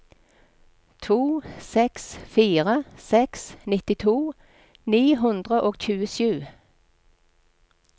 to seks fire seks nittito ni hundre og tjuesju